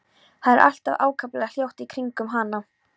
Það er allt ákaflega hljótt í kringum hana.